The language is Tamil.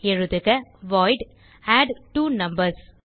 எழுதுக வாய்ட் அட்ட்வோனம்பர்ஸ்